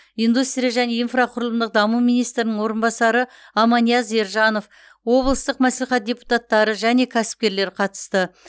индустрия және инфрақұрылымдық даму министрінің орынбасары аманияз ержанов облыстық мәслихат депутаттары және кәсіпкерлер қатысты